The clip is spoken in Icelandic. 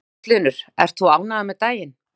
Magnús Hlynur: Ert þú ánægður með daginn?